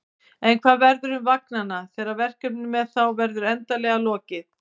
En hvað verður um vagnanna þegar verkefninu með þá verður endanlega lokið?